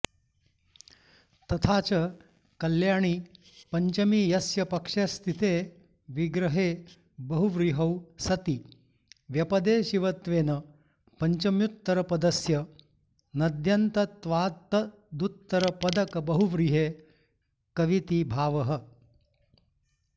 तथाच कल्याणी पञ्चमी यस्य पक्षस्येति विग्रहे बहुव्रीहौ सति व्यपदेशिवत्त्वेन पञ्चम्युत्तरपदस्य नद्यन्तत्वात्तदुत्तरपदकबहुव्रीहेः कविति भावः